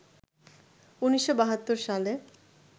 ১৯৭২ সালে